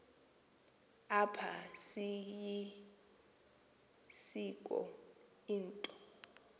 apha seyilisiko into